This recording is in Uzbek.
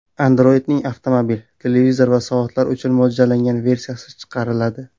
Android’ning avtomobil, televizor va soatlar uchun mo‘ljallangan versiyasi chiqariladi.